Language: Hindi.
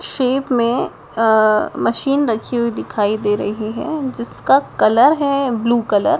शेप में अ मशीन रखी हुई दिखाई दे रही हैं जिसका कलर है ब्लू कलर --